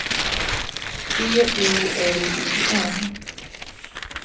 B O L I N